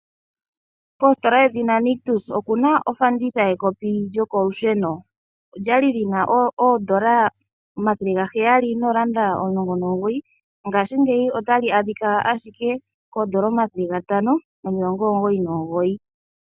Koositola yedhina Nictus okuna ofanditha yekopi lyokolusheno olya li lyina oodolla omathele gaheyali nooranda omulongo noogoyi ngaashingeyi otali a dhika ashike koodolla omathele gantano nomilongo omugoyi nomugoyi.